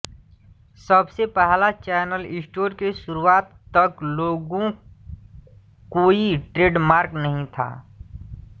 सबसे पहला channel store के शुरूआत तक लोगो कोई ट्रेडमार्क नहीं था